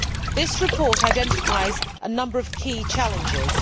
This report identifies a number of key challenges.